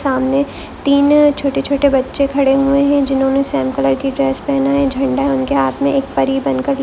सामने तीन छोटे छोटे बच्चे खड़े हुए है जिन्होंने सेम कलर की ड्रेस पेहना है झेंडा उनके हाथ में एक परी बनकर--